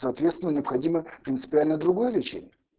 соответственно необходимо принципиально другое лечение